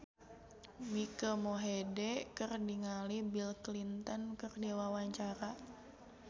Mike Mohede olohok ningali Bill Clinton keur diwawancara